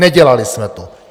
Nedělali jsme to!